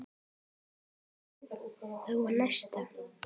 Áfangar væru þó að nást.